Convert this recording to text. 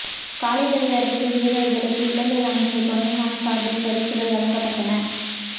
காளைகளை அடக்கிய வீரர்களுக்கு இலங்கை அமைச்சர் தொண்டைமான் சார்பில் பரிசுகள் வழங்கப்பட்டன